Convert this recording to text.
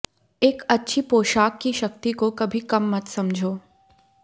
एक अच्छी पोशाक की शक्ति को कभी कम मत समझो